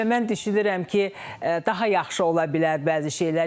Və mən düşünürəm ki, daha yaxşı ola bilər bəzi şeylər.